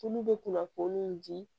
Tulu bɛ kunnafoni in di